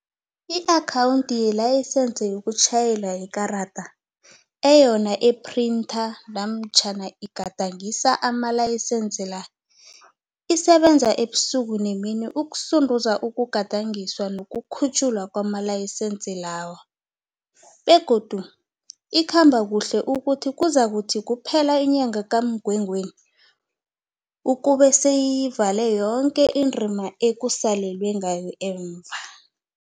I-Akhawundi yeLayisense yokuTjhayela yeKarada, eyona iphrintha namatjhana igadangisa amalayisense la, isebenza ubusuku nemini ukusunduza ukugadangiswa nokukhutjhwa kwamalayisense lawa begodu ikhamba kuhle ukuthi kuzakuthi kuphela inyanga kaMgwengweni ukube seyiyivale yoke indima ekusalelwe ngayo emva.